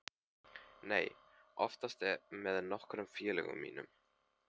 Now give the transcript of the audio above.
Nei, oftast með nokkrum félögum mínum.